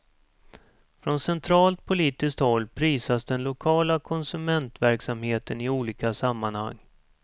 Från centralt politiskt håll prisas den lokala konsumentverksamheten i olika sammanhang.